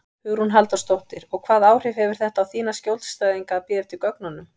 Hugrún Halldórsdóttir: Og hvaða áhrif hefur þetta á þína skjólstæðinga að bíða eftir gögnunum?